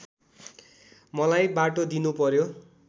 मलाई बाटो दिनुपर्‍यो